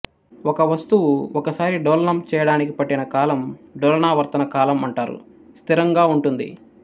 ఒక వస్తువు ఒకసారి డోలనం చేయడాన్ని పట్టిన కాలండోలనావర్తన కాలం అంటారుస్థిరంగా ఉంటుంది